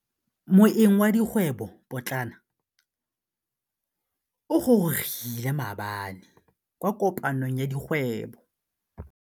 Moêng wa dikgwêbô pôtlana o gorogile maabane kwa kopanong ya dikgwêbô.